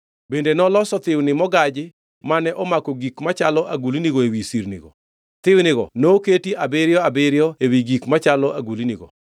Bende noloso thiwni mogaji mane omako gik machalo agulnigo ewi sirnigo, thiwnigo noketi abiriyo abiriyo ewi gik machalo agulnigo.